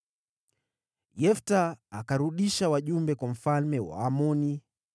Yefta akarudisha wajumbe kwa mfalme wa Waamoni,